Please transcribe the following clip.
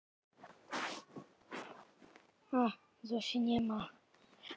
Þú getur nærri að mér varð ekki rótt við þá tilhugsun.